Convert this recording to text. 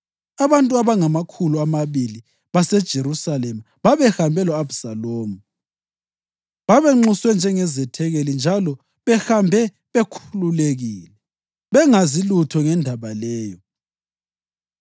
Abantu abangamakhulu amabili baseJerusalema babehambe lo-Abhisalomu. Babenxuswe njengezethekeli njalo behambe bekhululekile, bengazi lutho ngendaba leyo.